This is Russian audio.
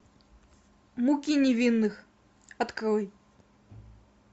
муки невинных открой